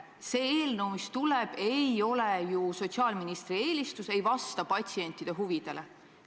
See eelnõu ei ole ju sotsiaalministri eelistus, see ei vasta patsientide huvidele.